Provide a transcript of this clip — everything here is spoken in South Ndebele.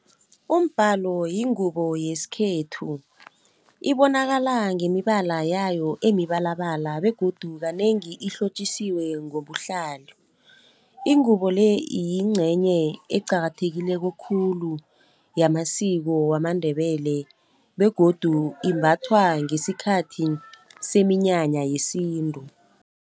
Umbhalo yingubo yesikhethu ibonakala ngemibala yayo emibalabala begodu kanengi ihlotjisiwe ngobuhlalo. Ingubo le yincenye eqakathekileko khulu yamasiko wamaNdebele begodu imbathwa ngesikhathi seminyanya yesintu.